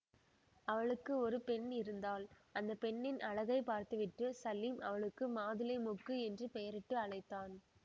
அவளுக்கு ஒரு பெண் இருந்தாள் அந்த பெண்ணின் அழகைப் பார்த்துவிட்டு சலீம் அவளுக்கு மாதுளை மொக்கு என்று பெயரிட்டு அழைத்தான்